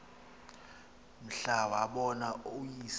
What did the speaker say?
mhla wabona uyise